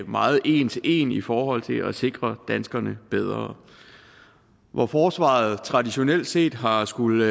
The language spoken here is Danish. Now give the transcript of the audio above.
meget en til en i forhold til at sikre danskerne bedre hvor forsvaret traditionelt set har skullet